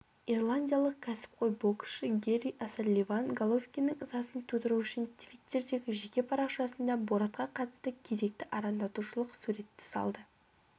ирландиялық кәсіпқой боксшыгэрри осалливан головкиннің ызасын тудыру үшін твиттердегі жеке парақшасында боратқа қатысты кезекті арандатушылық суретті салды